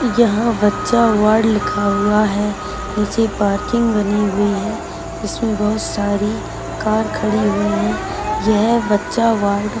यहां बच्चा वार्ड लिखा हुआ है। नीचे पार्किंग बनी हुई है। इसमें बहुत सारी कर खड़ी हुई है। यह बच्चा वार्ड --